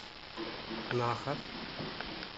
наха